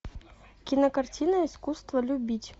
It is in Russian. кинокартина искусство любить